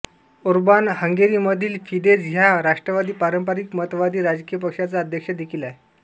Orban हंगेरीमधील Fidesz ह्या राष्ट्रवादी पारंपारिक मतवादी राजकीय पक्षाचा अध्यक्ष देखील आहे